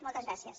moltes gràcies